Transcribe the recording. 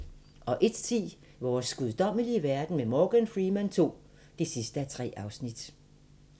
01:10: Vores guddommelige verden med Morgan Freeman II (3:3)